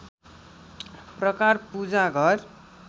प्रकार पूजा घर